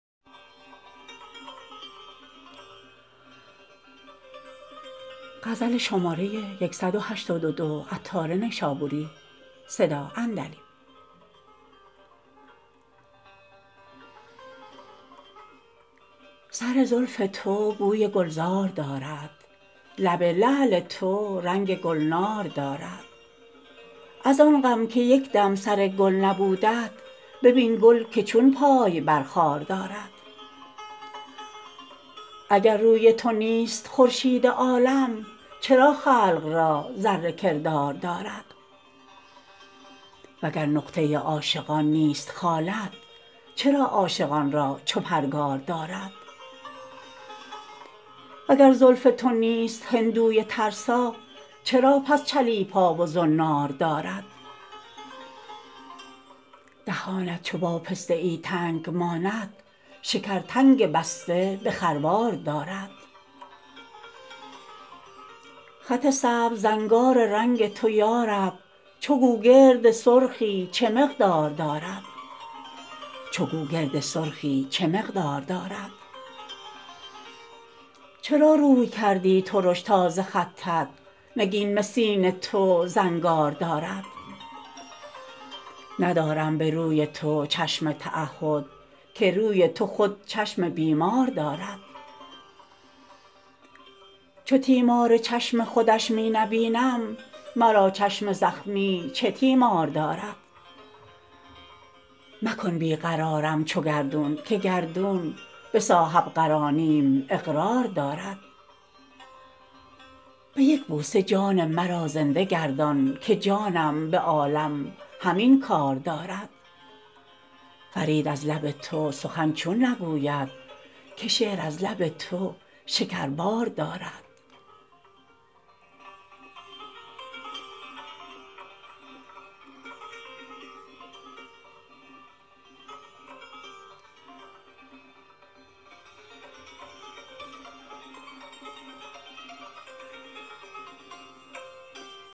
سر زلف تو بوی گلزار دارد لب لعل تو رنگ گلنار دارد از آن غم که یکدم سر گل نبودت ببین گل که چون پای بر خار دارد اگر روی تو نیست خورشید عالم چرا خلق را ذره کردار دارد وگر نقطه عاشقان نیست خالت چرا عاشقان را چو پرگار دارد وگر زلف تو نیست هندوی ترسا چرا پس چلیپا و زنار دارد دهانت چو با پسته ای تنگ ماند شکر تنگ بسته به خروار دارد خط سبز زنگار رنگ تو یارب چو گوگرد سرخی چه مقدار دارد چرا روی کردی ترش تا ز خطت نگین مسین تو زنگار دارد ندارم به روی تو چشم تعهد که روی تو خود چشم بیمار دارد چو تیمار چشم خودش می نبینم مرا چشم زخمی چه تیمار دارد مکن بیقرارم چو گردون که گردون به صاحب قرانیم اقرار دارد به یک بوسه جان مرا زنده گردان که جانم به عالم همین کار دارد فرید از لب تو سخن چون نگوید که شعر از لب تو شکربار دارد